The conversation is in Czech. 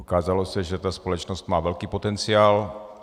Ukázalo se, že ta společnost má velký potenciál.